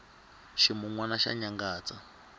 ximunwani xa nyangatsa